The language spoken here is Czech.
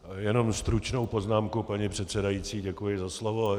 Jenom stručnou poznámku, paní předsedající, děkuji za slovo.